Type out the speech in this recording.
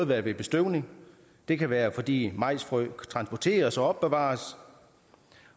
være ved bestøvning det kan være fordi majsfrø transporteres og opbevares